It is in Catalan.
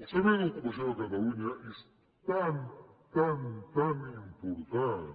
el servei d’ocupació de catalunya és tan tan tan important